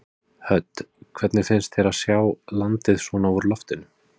Hödd: Hvernig finnst þér að sjá landið svona úr loftinu?